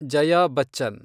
Jaya Bachchan